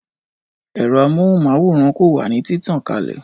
Ẹ̀rọ amóhùn máwòrán ko wà ní títàn kalè